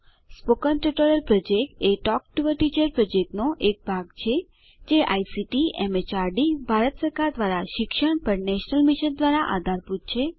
spoken tutorial project એ talk to a teacher પ્રોજેક્ટનો એક ભાગ છે જે આઇસીટી એમએચઆરડી ભારત સરકાર દ્વારા શિક્ષણ પર નેશનલ મિશન દ્વારા આધારભૂત છે